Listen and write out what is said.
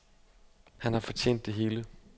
Han har fortjent det hele.